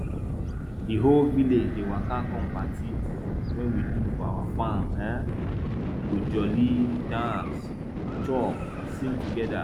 di whole village dey waka come party wey we do for our farm um we go joli dance chop sing together